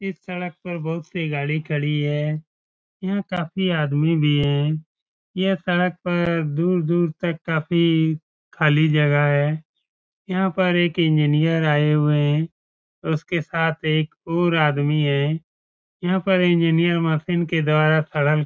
इस सड़क पर बहुत सी गाड़ी खड़ी है यहाँ काफी आदमी भी है यह सड़क पे दूर-दूर तक काफी खाली जगह है यहाँ पर एक इंजिनियर आए हुए हैं उसके साथ एक और आदमी है यहाँ पर इंजिनियर मशीन के द्वारा --